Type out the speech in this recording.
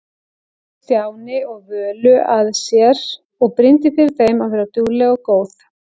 Stjána og Völu að sér og brýndi fyrir þeim að vera dugleg og góð.